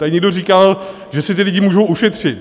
Tady někdo říkal, že si ti lidé mohou ušetřit.